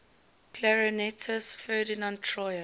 clarinetist ferdinand troyer